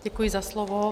Děkuji za slovo.